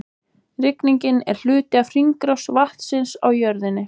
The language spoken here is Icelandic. Rigningin er hluti af hringrás vatnsins á jörðinni.